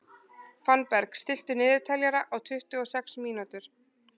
Fannberg, stilltu niðurteljara á tuttugu og sex mínútur.